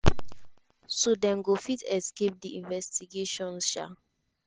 so dem go fit escape di investigations. um